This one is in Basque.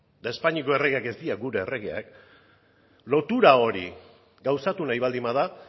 eta espainako erregeak ez dira gure erregeak lotura hori gauzatu nahi baldin bada